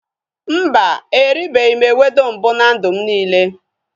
Mba, erubeghị m ewedu mbụ na ndụ m niile